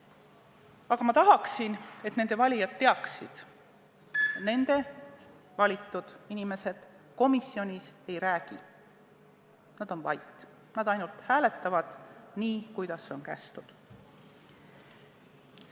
Aga ma tahaksin, et nende valijad teaksid: nende valitud inimesed komisjonis ei räägi, nad on vait, nad ainult hääletavad – nii, kuidas on kästud.